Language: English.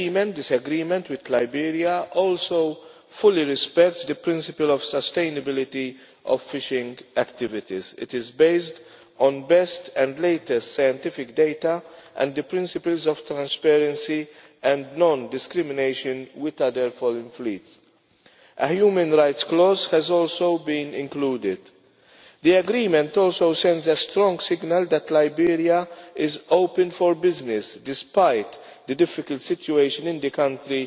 This agreement with Liberia also fully respects the principle of sustainability of fishing activities. It is based on the best and latest scientific data and the principles of transparency and non discrimination with other foreign fleets. A human rights clause has also been included. The agreement also sends a strong signal that Liberia is open for business despite the difficult situation in the country